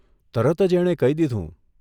તરત જ એણે કહી દીધું